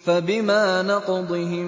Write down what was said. فَبِمَا نَقْضِهِم